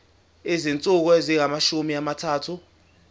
izinsuku ezingamashumi amathathu